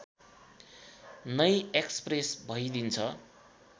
नै एक्सप्रेस भइदिन्छ